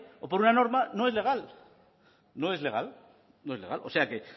o por una norma no es legal no es legal no es legal o sea que